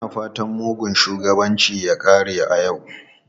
Muna fatan mugun shugabanci ya kare a yau.